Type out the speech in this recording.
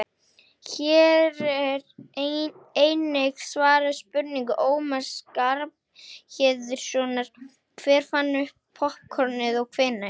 Hér er einnig svarað spurningu Ómars Skarphéðinssonar Hver fann upp poppkornið og hvenær?